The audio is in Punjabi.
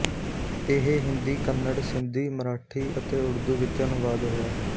ਇਹ ਹਿੰਦੀ ਕੰਨੜ ਸਿੰਧੀ ਮਰਾਠੀ ਅਤੇ ਉਰਦੂ ਵਿੱਚ ਅਨੁਵਾਦ ਹੋਇਆ